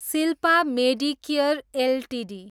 Shilpa medicare Ltd